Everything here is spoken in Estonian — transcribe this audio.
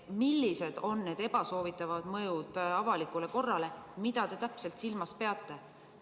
Millised on need ebasoovitavad mõjud avalikule korrale, mida te täpselt silmas peate?